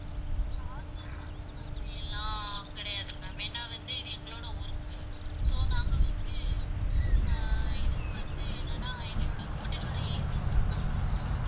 charges அந்த மாதிரி எல்லாம் கிடையாது ma'am ஏன்னா வந்து இது எங்களோட work, so நாங்க வந்து ஆஹ் இதுக்கு வந்து என்னன்னா எங்களோட கூட்டிட்டு வர agents க்கு மட்டும்